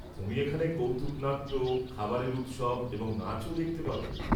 তুমি এখানে কৌতুক-নাট্য, খাবারের উৎসব এবং নাচও দেখতে পাবে।